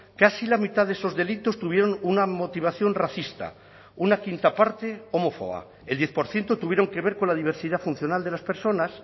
casi la mitad de esos delitos tuvieron una motivación racista una quinta parte homófoba el diez por ciento tuvieron que ver con la diversidad funcional de las personas